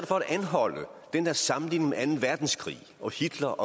for at anholde den der sammenligning med anden verdenskrig og hitler